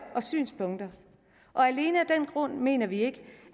og synspunkter og alene af den grund mener vi ikke